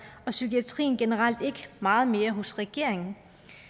og psykiatrien generelt ikke meget mere hos regeringen